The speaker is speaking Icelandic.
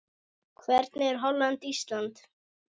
Hvernig fer Holland- Ísland?